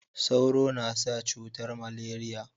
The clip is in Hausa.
Sauro na sa cutar maleriya